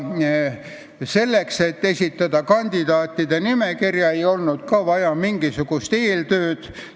Selleks et esitada kandidaatide nimekirja, ei olnud vaja mingisugust erilist eeltööd.